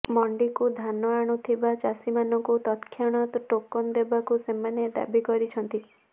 ମଣ୍ଡିକୁ ଧାନ ଆଣୁଥିବା ଚାଷୀମାନଙ୍କୁ ତତ୍କ୍ଷଣାତ୍ ଟୋକନ ଦେବାକୁ ସେମାନେ ଦାବି କରିଛନ୍ତି